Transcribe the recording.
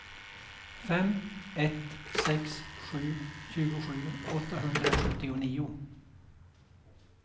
fem ett sex sju tjugosju åttahundrasjuttionio